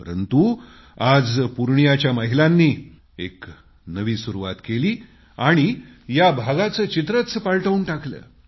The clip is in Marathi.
परंतु आज पूर्णियाच्या महिलांनी एक नवी सुरूवात केली आणि या भागाचं चित्रंच पालटवून टाकलं